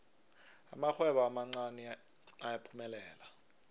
amarhwebo amancani ayaphumelela